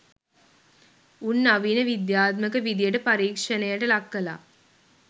උන් නවීන විද්‍යාත්මක විදියට පරීක්ෂණයට ලක් කලා